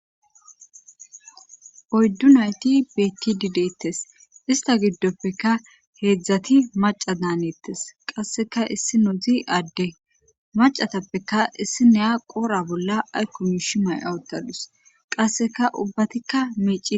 Oydduu nayti beettidi deettes istta giddofekka heedzdzaati macca daanettees qasska issinozi adde maccatappeka issinniya qoora bolla aykko miishi maya uttadus qasseka ubbatikka miicci.